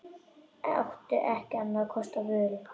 Átti ekki annarra kosta völ.